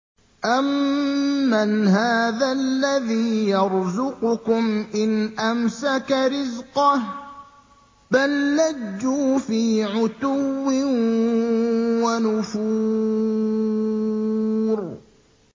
أَمَّنْ هَٰذَا الَّذِي يَرْزُقُكُمْ إِنْ أَمْسَكَ رِزْقَهُ ۚ بَل لَّجُّوا فِي عُتُوٍّ وَنُفُورٍ